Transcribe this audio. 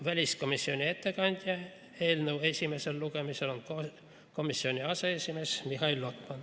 Väliskomisjoni ettekandja eelnõu esimesel lugemisel on komisjoni aseesimees Mihhail Lotman.